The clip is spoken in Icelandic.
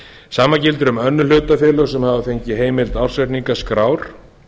sama gildir um önnur hlutafélög sem fengið hafa heimild ársreikningaskrár